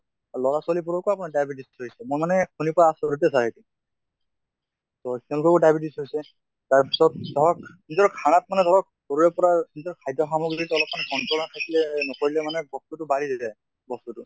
লʼৰা ছোৱালী বোৰকো আমাৰ diabetes হৈছে। মই মানে শুনি পাই আচৰিতে । তʼ তেওঁলোককো diabetes হৈছে। তাৰ পিছত ধৰক নিজৰ খানাত মানে ধৰক পৰা যিটো খাদ্য় সামগ্ৰিত অলপ্মান control আনি পেলে নকৰিলে মানে বস্তুতো বাঢ়ি যায়, বস্তুতো ।